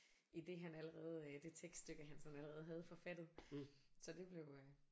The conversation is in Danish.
I det han allerede det tekststykke han sådan allerede havde forfattet så det blev øh